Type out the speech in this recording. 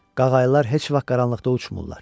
Qaqaylar heç vaxt qaranlıqda uçmurlar.